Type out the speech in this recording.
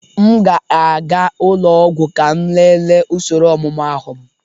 M ga-aga ụlọ ọgwụ ka m lelee usoro ọmụmụ ahu m.